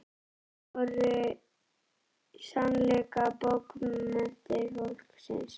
Þær voru í sannleika bókmenntir fólksins.